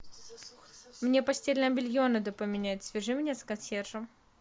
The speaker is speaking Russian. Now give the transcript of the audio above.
мне постельное белье надо поменять свяжи меня с консьержем